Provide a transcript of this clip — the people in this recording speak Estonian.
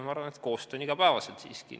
Ma arvan, et koostöö on igapäevaselt siiski.